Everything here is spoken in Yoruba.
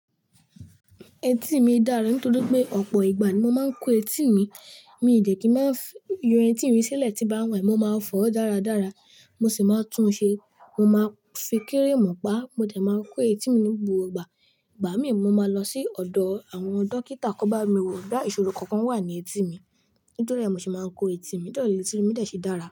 Etí mi dára nítorí pé ọ̀pọ̀ ìgbà ni mo máa ń kó etí mi. Mi n dẹ̀ kí máa yọ etí mi sílẹ̀ tí n bá n wẹ̀, mo máa fọ̀ dáradára, mo sì máa tún ṣe. Mo máa fi cream pa mo dẹ̀ máa n kó etí mi ní gbogbo igba. Ìgbà míì, mo máa lọ sí ọ̀dọ̀ àwọn dókítà ki wón bá mi wò boya ìṣòro kankan wà ní etí mi. Nítoríẹ̀, mo se máa ń kó etí mi, nítoríẹ̀ letí mi dẹ̀ ṣe dára.